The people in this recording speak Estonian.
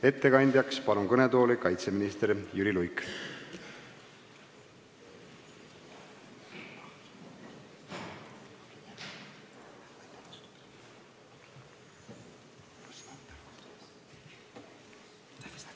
Ettekandjaks palun kõnetooli kaitseminister Jüri Luige!